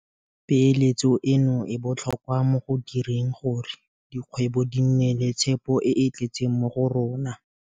Peeletso eno e botlhokwa mo go direng gore dikgwebo di nne le tshepo e e tletseng mo go rona.